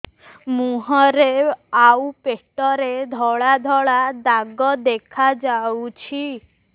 ମୁହଁରେ ଆଉ ପେଟରେ ଧଳା ଧଳା ଦାଗ ଦେଖାଯାଉଛି